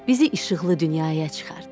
bizi işıqlı dünyaya çıxart.